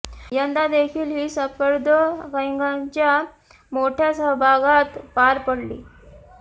यंदा देखील ही स्पर्धा कैद्यांच्या मोठ्या सहभागात पार पडली